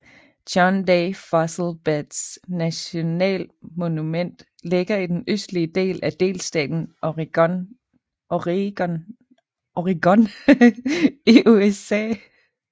John Day Fossil Beds nationalmonument ligger i den østlige del af delstaten Oregon i USA